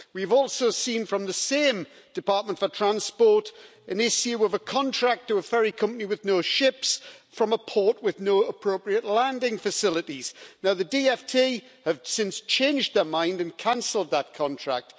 We've also seen from the same Department for Transport the issue of a contract to a ferry company with no ships from a port with no appropriate landing facilities. Now the DfT has since changed its mind and cancelled that contract.